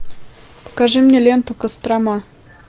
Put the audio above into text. покажи мне ленту кострома